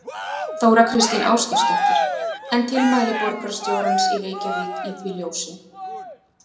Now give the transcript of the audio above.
Þóra Kristín Ásgeirsdóttir: En tilmæli borgarstjórans í Reykjavík í því ljósi?